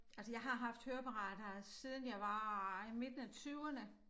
Altså jeg har haft høreapparat her siden jeg var i midten af tyverne